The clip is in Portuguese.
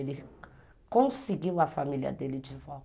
Ele conseguiu a família dele de volta.